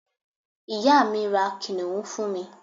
ìyá mi, ra kìnìún fún mi